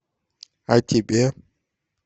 а тебе